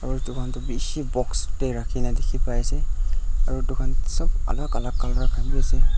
aro edu khan toh bishi box tae rakhina dikhipaiase aro edu khan sop alak alka colour khan bi ase.